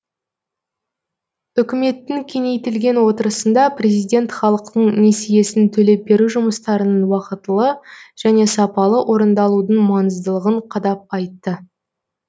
үкіметтің кеңейтілген отырысында президент халықтың несиесін төлеп беру жұмыстарының уақытылы және сапалы орындалудың маңыздылығын қадап айтты